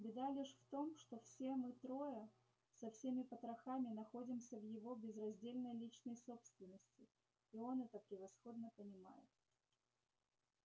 беда лишь в том что все мы трое со всеми потрохами находимся в его безраздельной личной собственности и он это превосходно понимает